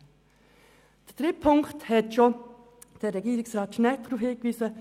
Auf den dritten Punkt hat bereits Regierungsrat Schnegg hingewiesen.